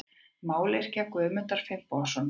Mályrkja Guðmundar Finnbogasonar.